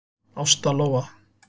Ásta Lóa.